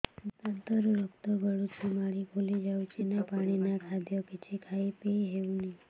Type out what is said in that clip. ଦାନ୍ତ ରୁ ରକ୍ତ ଗଳୁଛି ମାଢି ଫୁଲି ଯାଉଛି ନା ପାଣି ନା ଖାଦ୍ୟ କିଛି ଖାଇ ପିଇ ହେଉନି